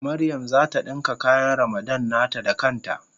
Mariam zata dinka kayan Ramadan nata da kan ta.